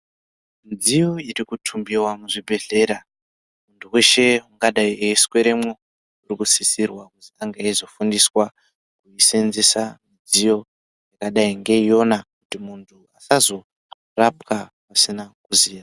Midziyo iri kutumbiwa muzvibhedhlera eshe ungadai eisweremo uri kusisirwa kufundiswa kusenzesa midziyo yakadai ngeiyona usazorapwa usina ruzivo.